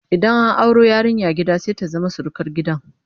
idan an auro yarinya gida sai ta zama surukar gidan